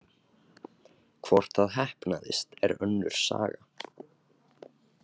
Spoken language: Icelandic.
Hvort það heppnaðist er önnur saga.